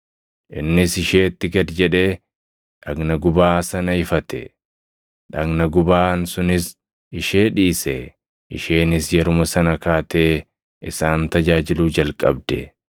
Innis isheetti gad jedhee, dhagna gubaa sana ifate; dhagna gubaan sunis ishee dhiise. Isheenis yeruma sana kaatee isaan tajaajiluu jalqabde.